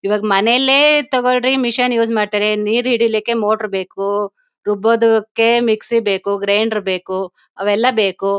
ಈವಾಗ ಮನೆಲ್ಲೇ ತೋಕೋಳ್ಳರಿ ಮಿಷನ್ ಯೂಸ್ ಮಾಡತರೆ ನೀರ್ ಹಿಡಿಲಿಕ್ಕೆ ಮೋಟರ್ ಬೇಕು ರುಬ್ಬದ್ದಕ್ಕೆ ಮಿಕ್ಸಿ ಬೇಕು ಗ್ರೈಂಡರ್ ಬೇಕು ಅವೆಲ್ಲಾ ಬೇಕು.